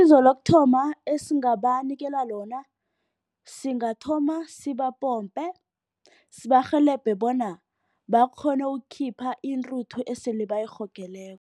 Isizo lokuthoma, esingabanikela lona singathoma sibapompe. Sibarhelebhe bona bakghone ukukhipha intuthu esele bayirhogeleko.